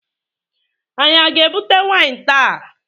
Anyị a ga-ebute waịn taa?